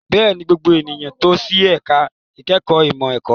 Bẹ́ẹ̀ni, gbogbo ènìyàn tò sí ẹ̀ka ìkẹ́kọ̀ọ́ ìmọ̀ ẹ̀kọ́.